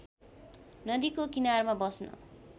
नदीको किनारमा बस्न